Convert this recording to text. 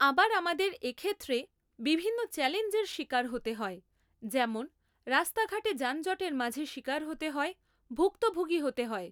আবার আমাদের এক্ষেত্রে বিভিন্ন চ্যালেঞ্জের শিকার হতে হয় যেমন রাস্তাঘাটে যানজটের মাঝে শিকার হতে হয় ভুক্তভোগী হতে হয়